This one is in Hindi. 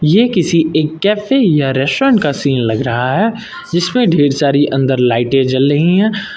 ये किसी एक कैफे या रेस्टोरेंट का सीन लग रहा है जिसमे ढेर सारी अंदर लाइटें जल रही है।